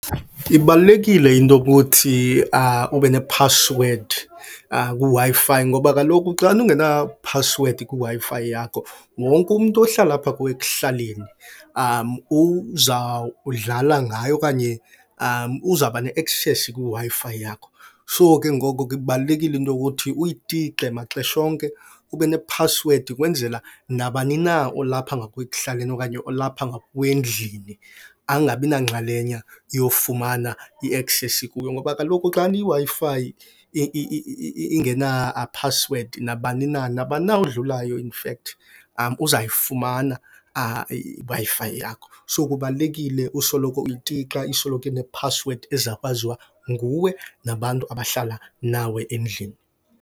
Ibalulekile into okuthi ube nephasiwedi kwiWi-Fi. Ngoba kaloku xana ungenaphasiwedi kwiWi-Fi yakho wonke umntu ohlala apha kuwe ekuhlaleni uzawudlala ngayo okanye uzawuba ne-access kwiWi-Fi yakho. So, ke ngoko ke kubalulekile into okuthi uyitixe maxesha onke, ube nephasiwedi ukwenzela nabani na olapha ngakuwe ekuhlaleni okanye olapha ngakuwe endlini angabinanxalenye yofumana i-access kuyo. Ngoba kaloku xana iWi-Fi ingenaphasiwedi nabani na, nabani na odlulayo infact uzayifumana iWi-Fi yakho. So kubalulekile usoloko uyitixa isoloko inephasiwedi ezakwaziwa nguwe nabantu abahlala nawe endlini.